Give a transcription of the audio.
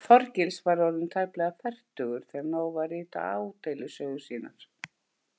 Þorgils var orðinn tæplega fertugur þegar hann hóf að rita ádeilusögur sínar.